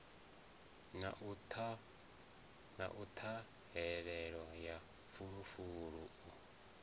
na ṱhahelelo ya fulufulu u